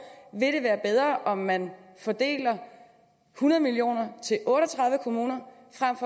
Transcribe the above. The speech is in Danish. ville være bedre om man fordelte hundrede million kroner